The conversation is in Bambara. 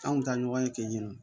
An kun tɛ ɲɔgɔn ye ten nɔ